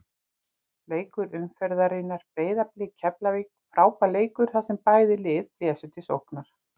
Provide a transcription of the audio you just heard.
Leikur umferðarinnar Breiðablik- Keflavík Frábær leikur þar sem bæði lið blésu til sóknar.